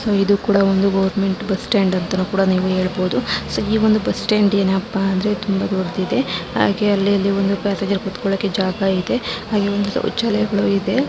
ಇದು ಒಂದು government bus stand ಅಂತ ಕೂಡ ಹೇಳಬಹುದು. ಸೋ ಈ ಒಂದು ಬಸ್ಟ್ಯಾಂಡ್ ಏನು ಅಂದ್ರೆ ತುಂಬಾ ದೊಡ್ಡದಾಗಿದೆ ಹಾಗೆ ಅಲ್ಲಿ ಪ್ಯಾಸೆಂಜರ್ ಕುತ್ಕೊಳೋ ಹಾಗೆ ಜಾಗನು ಇದೆ ಹಾಗೆ ಶೌಚಾಲಯಗಳು ಇದೆ.